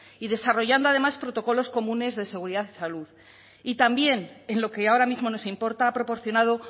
y desarrollando además protocolos comunes de seguridad y salud y también en lo que ahora mismo nos importa ha proporcionado